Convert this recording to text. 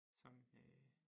Sådan øh